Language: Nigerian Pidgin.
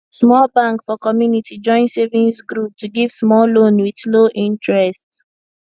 small bank for community join savings group to give small loan with low interest